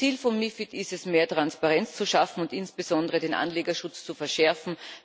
Ziel von MiFID ist es, mehr Transparenz zu schaffen und insbesondere den Anlegerschutz zu verschärfen.